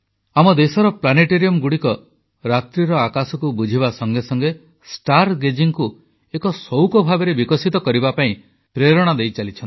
ଆମ ଦେଶ ପ୍ଲାନେଟରିୟମଗୁଡ଼ିକ ରାତ୍ରୀର ଆକାଶକୁ ବୁଝିବା ସଙ୍ଗେ ସଙ୍ଗେ ଷ୍ଟାର ଗେଜିଂକୁ ଏକ ସଉକ ଭାବରେ ବିକଶିତ କରିବା ପାଇଁ ପ୍ରେରଣା ଦେଇଚାଲିଛନ୍ତି